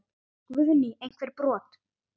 Guðný: Einhver brot?